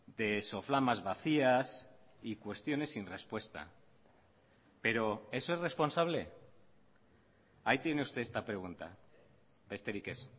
de soflamas vacías y cuestiones sin respuesta pero eso es responsable ahí tiene usted esta pregunta besterik ez